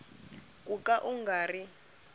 ku ka u nga ri